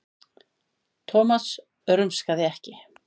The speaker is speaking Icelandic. Thomas rumskaði ekki.